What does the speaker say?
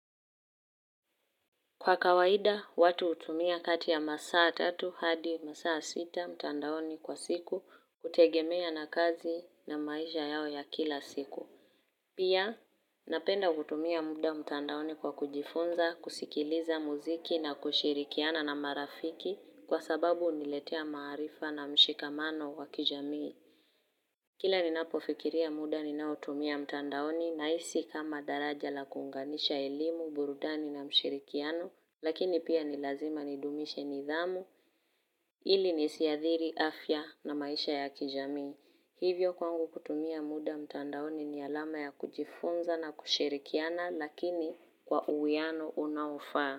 Kwa kawaida, watu hutumia kati ya masaa tatu hadi masaa sita mtandaoni kwa siku kutegemea na kazi na maisha yao ya kila siku. Pia, napenda kutumia muda mtandaoni kwa kujifunza, kusikiliza muziki na kushirikiana na marafiki kwa sababu huniletea maarifa na mshikamano wa kijamii. Kila ni napofikiria muda ninaotumia mtandaoni nahisi kama daraja la kunganisha elimu, burudani na mshirikiano lakini pia ni lazima nidumishe nidhamu ili nisiathiri, afya na maisha ya kijamii. Hivyo kwangu kutumia muda mtandaoni ni alama ya kujifunza na kushirikiana lakini kwa uwiano unaofaa.